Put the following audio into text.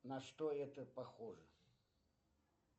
на что это похоже